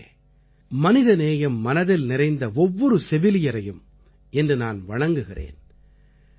நண்பர்களே மனிதநேயம் மனதில் நிறைந்த ஒவ்வொரு செவிலியரையும் இன்று நான் வணங்குகிறேன்